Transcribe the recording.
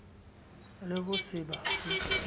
le ho se ba fe